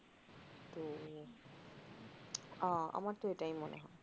আ আমার তো এটাই মনে হয়